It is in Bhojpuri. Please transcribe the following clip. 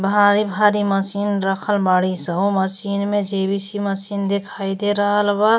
भारी भारी मशीन रखल बाड़ी स। मशीन में जे.बी.सी. मशीन देखाई दे रहल बा।